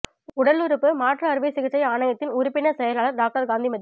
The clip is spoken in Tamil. உடலுறுப்பு மாற்று அறுவை சிகிச்சை ஆணையத்தின் உறுப்பினர் செயலர் டாக்டர் காந்திமதி